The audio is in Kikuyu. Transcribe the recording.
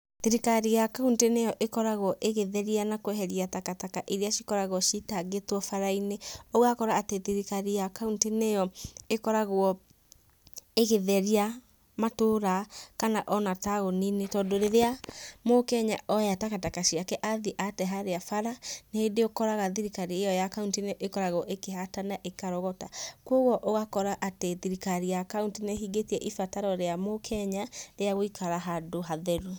Thirikari ya kauntĩ nĩ yo ikoragwo igĩtheria na kũeheria takataka irĩa cikoragwo citangĩtwo bara-inĩ. Ũgakora atĩ thirikari ya kauntĩ nĩ yo ĩkoragwo ĩgĩtheria matũũra, kana o na taũni-inĩ, tondũ rĩrĩa mũkenya oya takataka ciake athiĩ ate harĩa bara, rĩngĩ nĩũkoraga thirikari ĩyo ya kauntĩ nĩĩkoragwo ĩkĩhata na ĩkarogota, koguo ,ũgakora atĩ thirikari ya kauntĩ nĩhingĩtie ibataro rĩa mũkenya rĩa gũikara handũ hatheru.